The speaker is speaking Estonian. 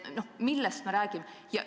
Millest me räägime?